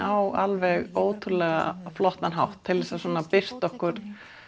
á alveg ótrúlega flottan hátt til þess að birta okkur